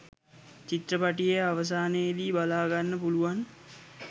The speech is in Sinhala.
චිත්‍රපටියේ අවසානයේදී බලාගන්න පුලුවන්.